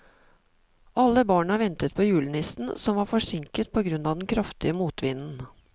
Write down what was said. Alle barna ventet på julenissen, som var forsinket på grunn av den kraftige motvinden.